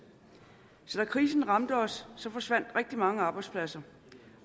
så da krisen ramte os forsvandt rigtig mange arbejdspladser